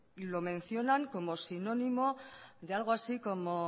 lo mencionan como sinónimo de algo así como